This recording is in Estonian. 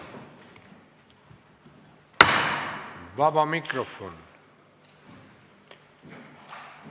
Vaba mikrofon.